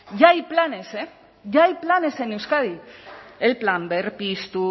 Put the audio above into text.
ya hay planes eh ya hay planes en euskadi el plan berpiztu